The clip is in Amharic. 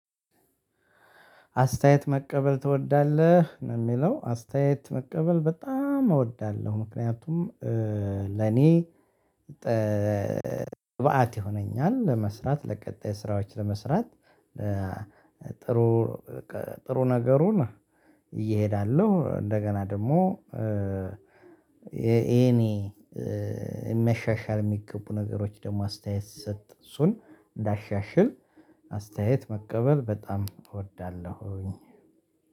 አስተያየት መቀበል ትወዳለህ? ነው የሚለው አስተያየት መቀበል በጣም እወዳለሁ ምክንያቱም ለእኔ ግብአት ይሆነኛል ለመስራት ለቀጣይ ስራዎች ለመስራት ጥሩ ጥሩ ነገሩን ይዤ እሄዳለሁ እንደገና ደግሞ የእኔ መሻሻል የሚገቡ ነገሮች ደግሞ አስተያየት ሲስጥ እሱን እንዳሻሽል አስተያየት መቀበል በጣም እወዳለሁኝ